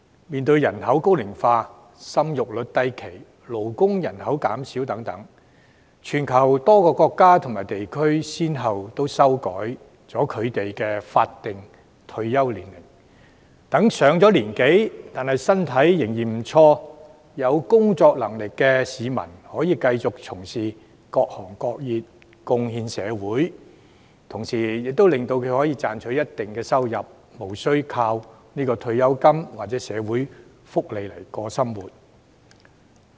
面對人口高齡化，生育率低、勞動人口減少等，全球多個國家和地區都先後修改法定退休年齡，讓年長但身體仍然不錯、有工作能力的市民，可以繼續從事各行各業、貢獻社會，同時他們可以賺取一定收入，無須單靠退休金或社會福利來維持生活。